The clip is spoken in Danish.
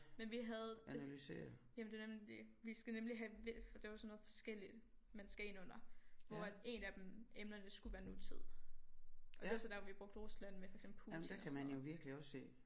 Men vi havde det jamen det er nemlig det vi skal nemlig have hvis det var sådan noget forskelligt man skal ind under hvor at en af dem emnerne skulle være nutid og det var så der vi brugte Rusland med for eksempel Putin og sådan noget